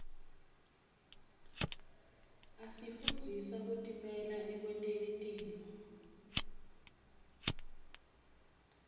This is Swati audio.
asifundzisa kutimela ekwenteni tintfo